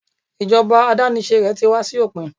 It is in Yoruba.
ijoba adanise rẹ ti wá sí òpin